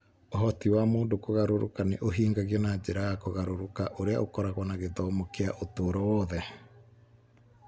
Ũhoti wa mũndũ kũgarũrũka nĩ ũhingagio na njĩra ya kũgarũrũka ũrĩa ũkoragwo na gĩthomo kĩa ũtũũro wothe.